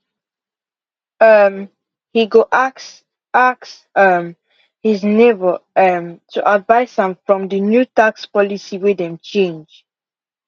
um he go ask ask um his neighbor um to advice am fr the new tax policy way them change